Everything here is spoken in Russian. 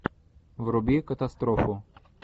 вруби катастрофу